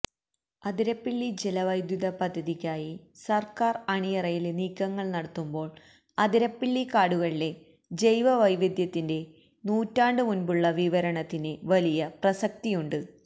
അതിരപ്പിള്ളി ജലവൈദ്യുത പദ്ധതിക്കായി സര്ക്കാര് അണിയറയില് നീക്കങ്ങള് നടത്തുമ്പോള് അതിരപ്പിള്ളി കാടുകളിലെ ജൈവവൈവിധ്യത്തിന്റെ നൂറ്റാണ്ട് മുന്പുള്ള വിവരണത്തിന് വലിയ പ്രസക്തിയുണ്ട്